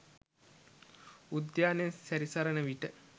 උද්‍යානයේ සැරිසරණ විට